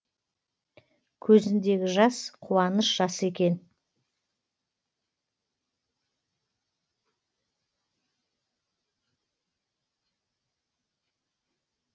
көзіндегі жас қуаныш жасы екен